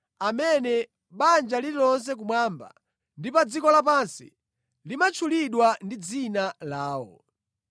amene banja lililonse kumwamba ndi pa dziko lapansi limatchulidwa ndi dzina lawo.